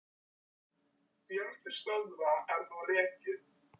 Fjöldi stöðva er nú rekinn.